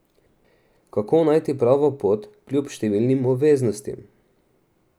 Kako najti pravo pot kljub številnim obveznostim?